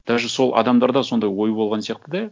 даже сол адамдарда сондай ой болған сияқты да